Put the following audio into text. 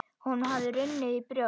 Honum hafði runnið í brjóst.